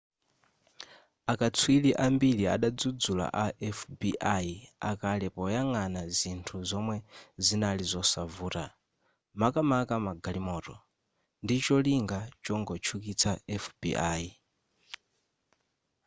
akatswiri ambiri adadzudzula a fbi akale poyangana zinthu zomwe zinali zosavuta makamaka magalimoto ndicholinga chongotchukitsa fbi